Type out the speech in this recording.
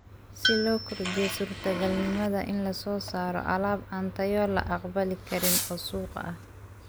Si loo kordhiyo suurtagalnimada in la soo saaro alaab aan tayo la aqbali karin oo suuqa ah.